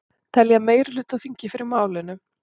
Telja meirihluta á þingi fyrir málinu